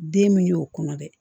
Den min y'o kɔnɔ dɛ